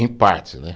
Em parte, né?